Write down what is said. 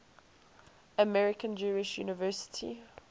american jewish university